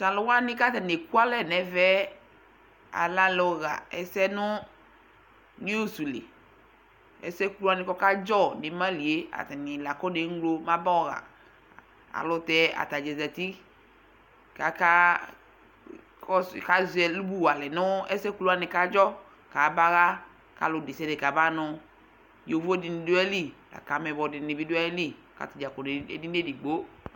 to alo wani ko atani eku alɛ no ɛvɛ alɛ alo ɣa ɛsɛ no news li ɛsɛ ku ko ɔka dzɔ no ima li atani la akɔne ŋlo mɛ aba yɔ ɣa ɛlotɛ atadza zati ko aka kɔso ko azɛ ɛlobu wa alɛ no ɛsɛ kulu ko adzɔ ko aba ɣa ko ɔlo desiade kɔba no yovo di ni do ayili lako ameyibɔ di ni bi do ayili lako atadza kɔ no edini edigbo